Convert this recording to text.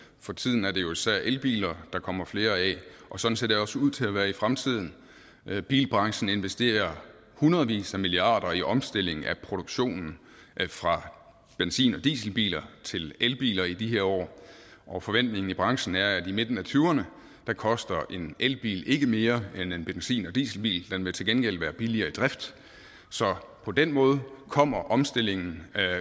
for tiden er det jo især elbiler der kommer flere af og sådan ser det også ud til at være i fremtiden bilbranchen investerer hundredvis af milliarder i omstilling af produktionen fra benzin og dieselbiler til elbiler i de her år og forventningen i branchen er at i midten af tyverne koster en elbil ikke mere end en benzin eller dieselbil den vil til gengæld være billigere i drift så på den måde kommer omstillingen